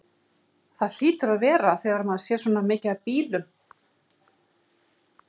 Það hlýtur að vera þegar maður sér svona mikið af bílum.